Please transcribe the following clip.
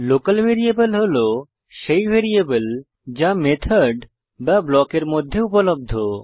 local variable হল সেই variable যা মেথড বা ব্লকের মধ্যে উপলব্ধ